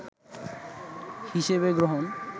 হিসেবে গ্রহণ